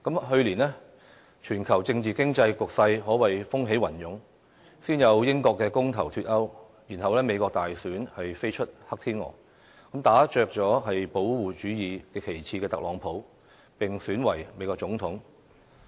去年，全球政治經濟局勢可謂風起雲湧，先有英國公投"脫歐"，然後美國大選飛出"黑天鵝"，打着"保護主義"旗幟的特朗普當選美國總統。